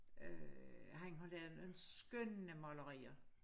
Øh han har lavet en skønne malerier